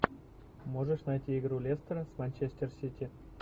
можешь найти игру лестера с манчестер сити